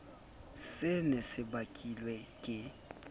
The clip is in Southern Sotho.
se ne se bakilwe ke